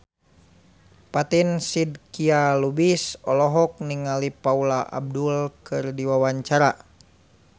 Fatin Shidqia Lubis olohok ningali Paula Abdul keur diwawancara